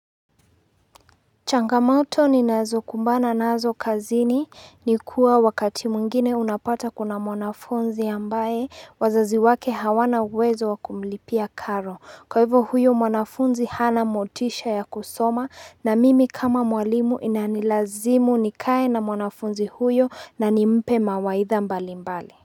Changamoto ninazokumbana nazo kazini ni kuwa wakati mwingine unapata kuna mwanafunzi ambaye wazazi wake hawana uwezo wa kumlipia karo. Kwa hivyo huyo mwanafunzi hana motisha ya kusoma na mimi kama mwalimu inanilazimu nikae na mwanafunzi huyo na nimpe mawaidha mbalimbali.